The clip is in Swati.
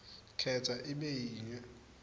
khetsa ibe yinye